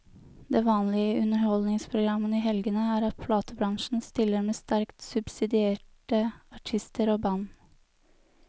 Det vanlige i underholdningsprogrammene i helgene er at platebransjen stiller med sterkt subsidierte artister og band.